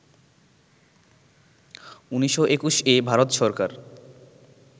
১৯২১-এ Bharat Sarkar